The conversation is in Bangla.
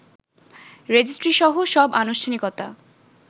রেজিস্ট্রিসহ সব আনুষ্ঠানিকতা